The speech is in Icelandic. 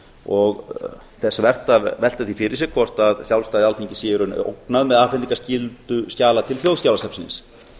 og þess vert að velta því fyrir sér hvort sjálfstæði alþingis sé í raun ógnað með afhendingarskyldu skjala til þjóðskjalasafnsins